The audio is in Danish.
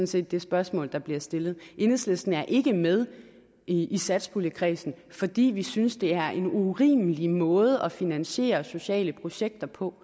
set det spørgsmål der bliver stillet enhedslisten er ikke med i satspuljekredsen fordi vi synes det er en urimelig måde at finansiere sociale projekter på